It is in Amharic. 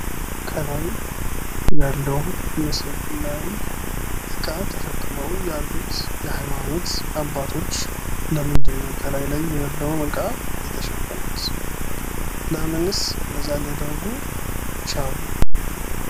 ከላይ ያለው ምስል ላይ እቃ ተሸክመው ያሉት የሃይማኖት አባቶች ለምንድን ነው ከላይ ያለውን ዕቃ የተሸከሙት? ለምንስ እንደዛ ሊያደርጉ ቻሉ?